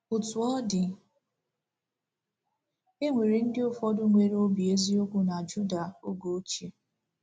Otú ọ dị, e nwere ndị ụfọdụ nwere obi eziokwu na Juda oge ochie.